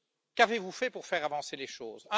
Qu'avez vous fait pour faire avancer les choses?